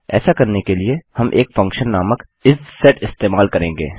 ऐसा करने के लिए हम एक फंक्शन नामक इसेट इस्तेमाल करेंगे